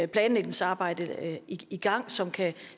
planlægningsarbejde i gang som kan